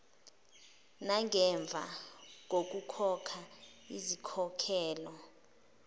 nangemva kokukhokha izinkokhelo